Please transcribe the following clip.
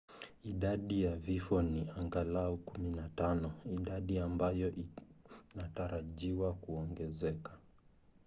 idadi ya vifo ni angalau 15 idadi ambayo inatarajiwa kuongezeka